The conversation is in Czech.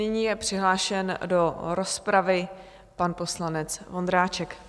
Nyní je přihlášen do rozpravy pan poslanec Vondráček.